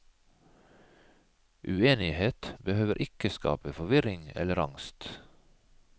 Uenighet behøver ikke skape forvirring eller angst.